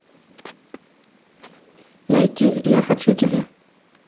найти я хочу тебя